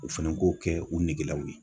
U fɛnɛ k'o kɛ u negelaw ye.